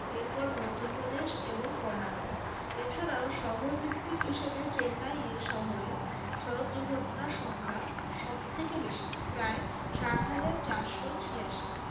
এরপর মধ্যপ্রদেশ এবং কর্ণাটক এছাড়াও শহর ভিত্তিক হিসেবে চেন্নাইয়ে শহরের সড়ক দুর্ঘটনার সংখ্যা সব থেকে বেশি প্রায় সাত হাজার চারশো ছিয়াশি